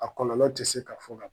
A kɔlɔlɔ tɛ se k'a fɔ ka ban.